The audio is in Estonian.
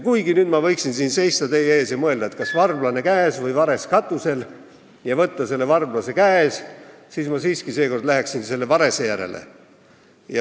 Kuigi nüüd ma võiksin siin teie ees seistes mõelda, et kas varblane käes või vares katusel, ja valida varblase, kes on käes, ma siiski läheksin selle varese järele.